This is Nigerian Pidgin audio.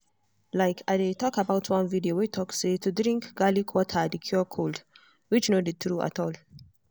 like i dey talk about one video way talk say to drink garlic water dey cure cold which no dey true at all.